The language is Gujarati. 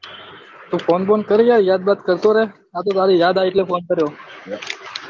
તો ફોન બોન કર યાર યાદ બાદ કરતો રે આ તો તારી યાદ આઈ એટલે ફોન કર્યો